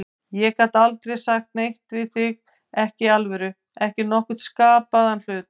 Ég gat aldrei sagt neitt við þig, ekki í alvöru, ekki nokkurn skapaðan hlut.